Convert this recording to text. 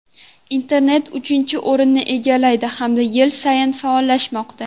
Internet uchinchi o‘rinni egallaydi, hamda yil sayin faollashmoqda.